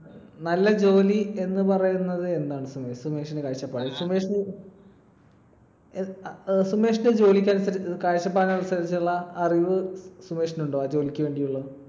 നല്ല ജോലി എന്ന് പറയുന്നത് എന്താണ് സുമേഷ്, സുമേഷിന്റെ കാഴ്ചപ്പാടിൽ? സുമേഷിന്റെ സുമേഷിന്റെ ജോലിക്കനുസരിച്ച് ~ കാഴ്ചപ്പാടിനനുസരിച്ചുള്ള അറിവ് സുമേഷിനുണ്ടോ ആ ജോലിക്കു വേണ്ടിയുള്ളേ?